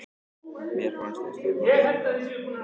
Mér fannst við stjórna leiknum.